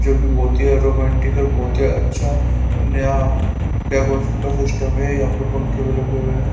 जो कि बहुत ही रोमांटिक और बहुत ही अच्छा नया डेकोरेशन का सिस्टम है यहां पर पंखे में लगे हुए हैं।